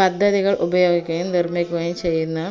പദ്ധതികൾ ഉപയോഗിക്കുകയും നിർമിക്കുകയും ചെയ്യുന്ന